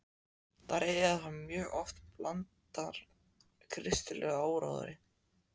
Þær eru þá mjög oft blandnar kristilegum áróðri.